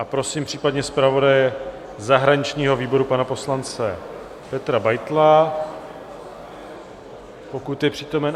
A prosím případně zpravodaje zahraničního výboru pana poslance Petra Beitla, pokud je přítomen.